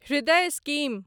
हृदय स्कीम